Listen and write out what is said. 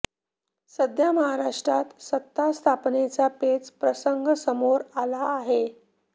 सध्या महाराष्ट्रात सत्ता स्थापनेचा पेच प्रसंग समोर आला आहे